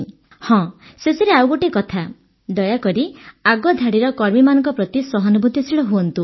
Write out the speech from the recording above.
ହଁ ଶେଷରେ ଆଉ ଗୋଟିଏ କଥା ଦୟାକରି ଆଗଧାଡ଼ିର କର୍ମୀମାନଙ୍କ ପ୍ରତି ସହାନୁଭୂତିଶୀଳ ହୁଅନ୍ତୁ